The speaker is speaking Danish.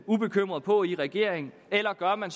ubekymret på i regeringen eller gør man